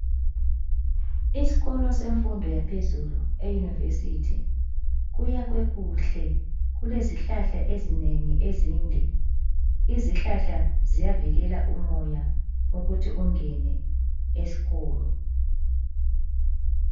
Isikolo semfundo yaphezulu eyunivesithi kuyakhwe kuhle kulezihlahla ezinengi ezinde. Izihlahla ziyavikela umoya ukuthi ungene esikolo.